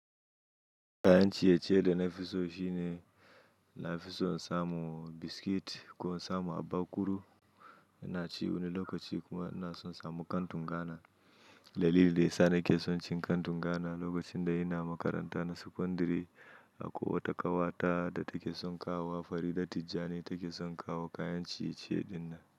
Kayan ciye-ciye da na fi so shine, na fi son samun biskit ko in samu abakuru. Ina ci wani lokaci kuma ina so in samu kantun Ghana. Dalili da ya sa nake son cin kantun Ghana lokacin da ina makaranta na secondary akwai wata kawata da take son kawowa Farida Tijjani take son kawo kayan ciye-ciye dinnan.